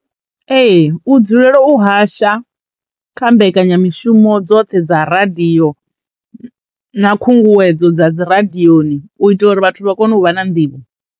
Ee u dzulela u hasha kha mbekanyamishumo dzoṱhe dza radio na khunguwedzo dza dzi radioni u itela uri vhathu vha kone u vha na nḓivho.